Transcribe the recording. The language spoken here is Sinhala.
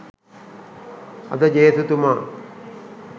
අද ජේසුතුමා